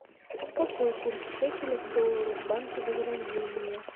какой курс шекеля к доллару в банке возрождение